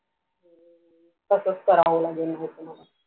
तसाच कारावे लागेल बहुतेक मला